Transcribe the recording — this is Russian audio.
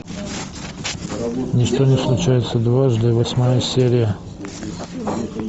ничто не случается дважды восьмая серия